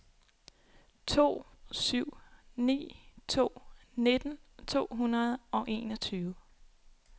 to syv ni to nitten to hundrede og enogtyve